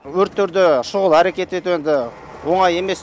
өрттерде шұғыл әрекет ету енді оңай емес